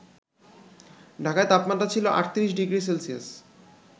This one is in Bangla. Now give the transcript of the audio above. ঢাকায় তাপমাত্রা ছিল ৩৮ ডিগ্রি সেলসিয়াস